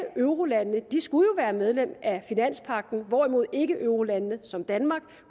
eurolandene skulle være medlem af finanspagten hvorimod ikkeeurolande som danmark